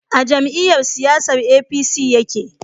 A jam'iyyar siyasan APC ya ke